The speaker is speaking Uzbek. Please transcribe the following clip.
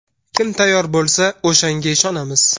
Kim tayyor bo‘lsa, o‘shanga ishonamiz.